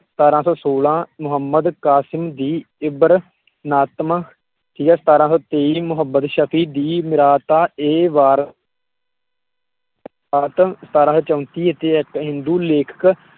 ਸਤਾਰਾਂ ਸੌ ਸੋਲਾਂਹ ਮੋਹੰਮਦ ਕਾਸਿਮ ਦੀ ਨਾਤਮ ਠੀਕ ਆ ਸਤਾਰਾਂ ਸੌ ਤੇਈ ਮੋਹੰਮਦ ਸ਼ਕੀ ਦੀ ਸਤਾਰਾਂ ਸੌ ਚੌਂਤੀ ਵਿੱਚ ਇਕ ਹਿੰਦੂ ਲੇਖਕ